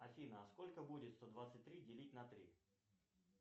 афина а сколько будет сто двадцать три делить на три